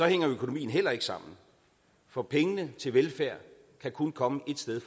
hænger økonomien heller ikke sammen for pengene til velfærd kan kun komme ét sted